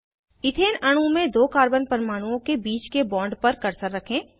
ethane अणु में दो कार्बन परमाणुओं के बीच के बॉन्ड पर कर्सर रखें